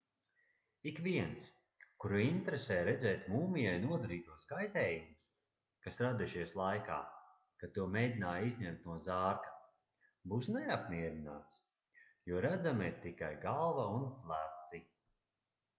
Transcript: ikviens kuru interesē redzēt mūmijai nodarītos kaitējumus kas radušies laikā kad to mēģināja izņemt no zārka būs neapmierināts jo redzama ir tikai galva un pleci